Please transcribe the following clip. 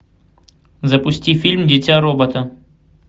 запусти фильм дитя робота